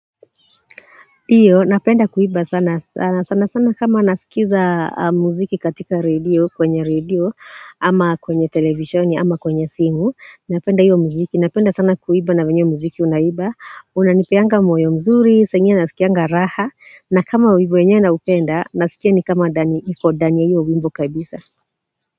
Ndiyo napenda kuimba sana. Sana, sana sana kama nasikiza muziki katika redio kwenye redio ama kwenye televisheni ama kwenye simu, napenda hiyo muziki. Napenda sana kuimba na wenye muziki unaimba. Unanipeanga moyo mzuri saa ingine nasikianga raha. Na kama wimbo yenyewe naupenda, nasikia ni kama ndani, niko ndani ya hiyo wimbo kabisa.